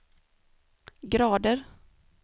grader